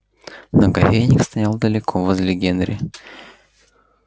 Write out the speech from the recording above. но кофейник стоял далеко возле генри